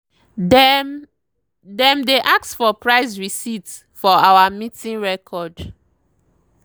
dem dem dey ask for price receipt for our meeting record.